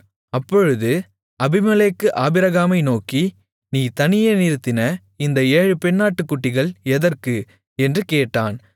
அப்பொழுது அபிமெலேக்கு ஆபிரகாமை நோக்கி நீ தனியே நிறுத்தின இந்த ஏழு பெண்ணாட்டுக்குட்டிகள் எதற்கு என்று கேட்டான்